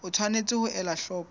o tshwanetse ho ela hloko